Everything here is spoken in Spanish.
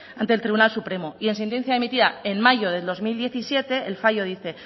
ante el tribunal supremo y en sentencia emitida en mayo de dos mil diecisiete el fallo dice